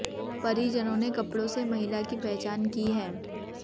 परिजनों ने कपड़ों से महिला की पहचना की है